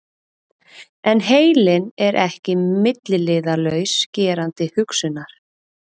En heilinn er ekki milliliðalaus gerandi hugsunar.